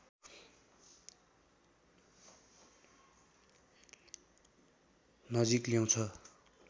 नजिक ल्याउँछ